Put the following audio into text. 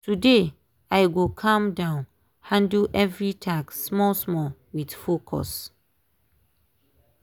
today i go calm down handle every task small small with focus